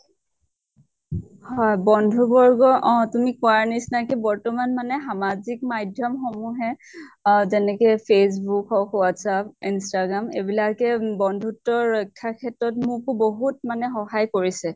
হয় বন্ধু বৰ্গ অ তুমি কোৱাৰ নিছিনাকে বৰ্তমান মানে সামাজিক মাধ্য়ম সমুহে আহ যেনেকে facebook হওঁক WhatsApp instagram এইবিলাকে বন্ধুত্ব ৰক্ষা ক্ষেত্ৰত মোকো বহুত মানে সহায় কৰিছে।